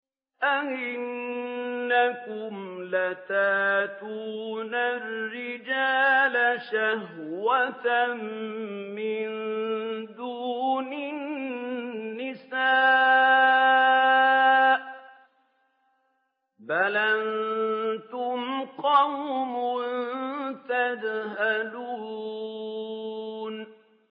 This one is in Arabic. أَئِنَّكُمْ لَتَأْتُونَ الرِّجَالَ شَهْوَةً مِّن دُونِ النِّسَاءِ ۚ بَلْ أَنتُمْ قَوْمٌ تَجْهَلُونَ